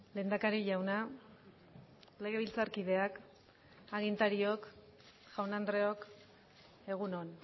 lehendakari jauna legebiltzarkideak agintariok jaun andreok egun on